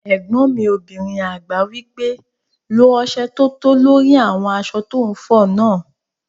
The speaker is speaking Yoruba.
Ẹ̀gbọ́n mi obìnrin àgbà wí pé "lo ọsẹ tótó lórí àwọn aṣọ tó n fọ náà!"